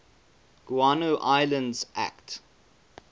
guano islands act